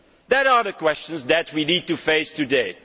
These are the questions that we need to face today.